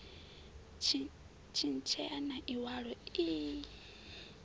tshintshea na iwalo ii i